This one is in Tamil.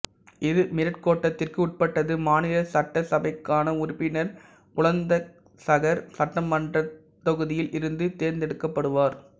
இது மீரட் கோட்டத்திற்கு உட்பட்டது மாநில சட்டசபைக்கான உறுப்பினர் புலந்தசகர் சட்டமன்றத் தொகுதியில் இருந்து தேர்ந்தெடுக்கப்படுவார்